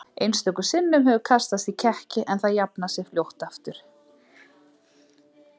Einstöku sinnum hefur kastast í kekki en það jafnað sig fljótt aftur.